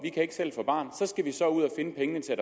finde pengene til